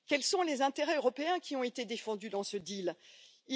Quels sont les intérêts européens qui ont été défendus dans cet accord?